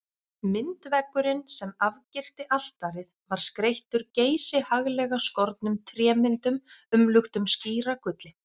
Myndveggurinn sem afgirti altarið var skreyttur geysihaglega skornum trémyndum umluktum skíragulli.